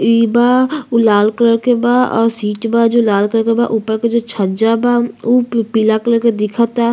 इ बा उ लाल कलर के बा और सीट बा जो लाल कलर के बा। ऊपर के जो छज्जा बा उ पीला कलर के दिख ता